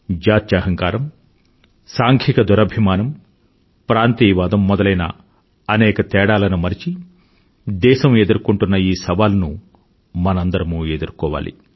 జాత్యహంకారం సాంఘిక దురభిమానం ప్రాంతీయవాదం మొదలైన అనేక తేడాలను మరచి దేశం ఎదుర్కొంటున్న ఈ సవాలును మనందరమూ ఎదుర్కోవాలి